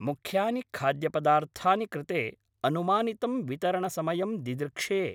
मुख्यानि खाद्यपदार्थानि कृते अनुमानितं वितरणसमयं दिदृक्षे।